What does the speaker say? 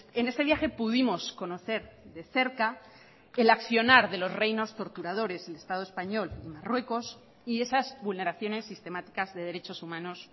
en este viaje pudimos conocer de cerca el accionar de los reinos torturadores del estado español y marruecos y esas vulneraciones sistemáticas de derechos humanos